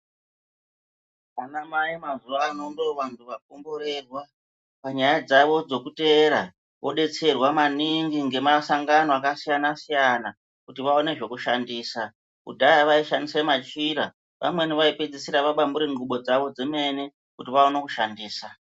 Anamai mazuva ano ndovantu vakomboererwa panyaya dzavo dzekuteera vobetserwa maningi nemasangano akasiyana-siyana kuti vaone zvokushandisa. Kudhaya vaishandisa machira vamweni vaipedzisira vadambure ngubo dzavo dzemene kuti vaone kushandisa.